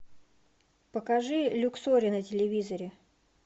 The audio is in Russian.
покажи люксори на телевизоре